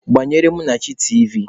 Gbanyere Munachi tiivi!